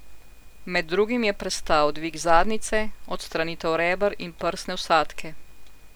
Med drugim je prestal dvig zadnjice, odstranitev reber in prsne vsadke ...